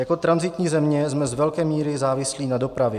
Jako tranzitní země jsme z velké míry závislí na dopravě.